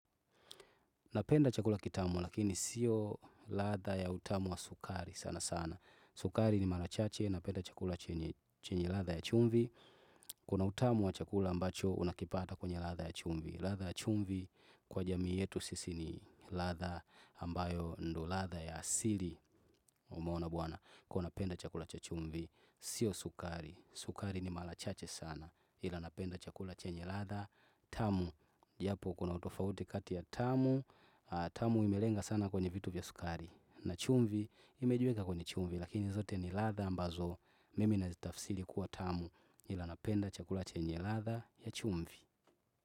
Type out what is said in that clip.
Napenda chakula kitamu, lakini siyo latha ya utamu wa sukari sana sana. Sukari ni mala chache, napenda chakula chenye latha ya chumvi. Kuna utamu wa chakula ambacho, unakipata kwenye latha ya chumvi. Latha ya chumvi kwa jamii yetu sisi ni latha ambayo ndo latha ya asili. Muona bwana, kuwa napenda chakula cha chumvi, siyo sukari. Sukari ni malachache sana. Ila napenda chakula chenye latha. Tamu, japo kuna utofauti kati ya tamu. Tamu imelenga sana kwenye vitu vya sukari. Na chumvi, imejiwekea kwenye chumvi, lakini zote ni latha ambazo. Mimi nazitafsili kuwa tamu nila napenda chakula chenye latha ya chumvi.